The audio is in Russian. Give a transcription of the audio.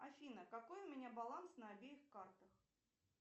афина какой у меня баланс на обеих картах